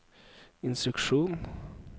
instruksjon